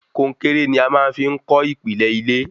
Konkéré ní a máa fí n kọ́ ìpìlẹ ilé